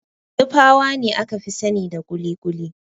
Nupawa ne aka fi sanida kuli-kuli.